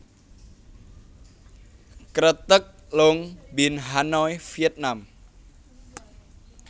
Kreteg Long Bien Hanoi Vietnam